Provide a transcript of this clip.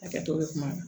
Hakɛto bɛ kuma na